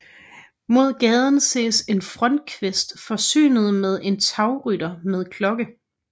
Mod gaden ses en frontkvist forsynet med en tagrytter med klokke